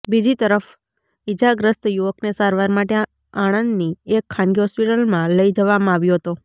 બીજી તરફ ઈજાગ્રસ્ત યુવકને સારવાર માટે આણંદની એક ખાનગી હોસ્પીટલમાં લઈ જવામાં આવ્યો હતો